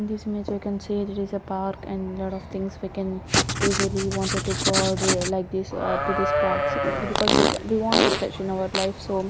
in this image we can see this is a park and lot of things we can easily wanted to god like this to this parks because we can we want refresh in our life so --